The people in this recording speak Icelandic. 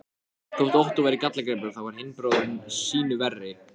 Þótt Ottó væri gallagripur, þá var hinn bróðirinn sýnu verri.